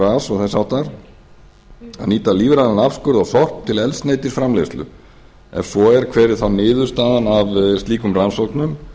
á að nýta lífrænan afskurð og sorp til eldsneytisframleiðslu ef svo er hver var niðurstaðan